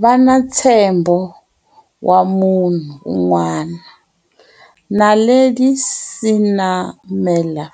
Vana ntshembo wa munhu un'wana. Naledi Senamela,